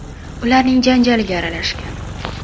ularning janjaliga aralashgan.